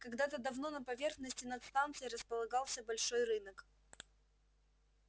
когда-то давно на поверхности над станцией располагался большой рынок